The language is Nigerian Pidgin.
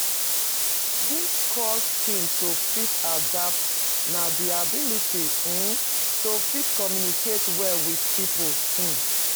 Di core skill to fit adapt na di ability um to fit communicate well with pipo um